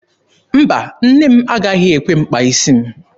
Mba, nne m agaghị ekwe m kpaa isi m.